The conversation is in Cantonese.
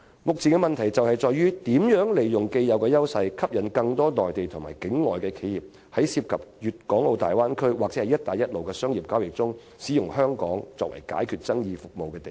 目前的問題在於香港如何利用既有優勢，吸引更多內地和境外企業在涉及大灣區或"一帶一路"的商業交易中，利用香港作為解決爭議的地方。